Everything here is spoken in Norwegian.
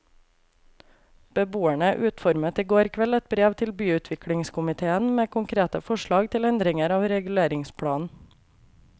Beboerne utformet i går kveld et brev til byutviklingskomitéen med konkrete forslag til endringer av reguleringsplanen.